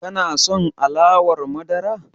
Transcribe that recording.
Ka son alawar madara?